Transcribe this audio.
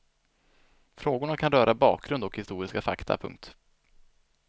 Frågorna kan röra bakgrund och historiska fakta. punkt